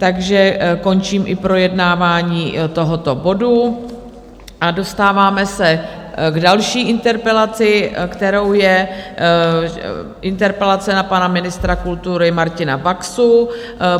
Takže končím i projednávání tohoto bodu a dostáváme se k další interpelaci, kterou je interpelace na pana ministra kultury Martina Baxu.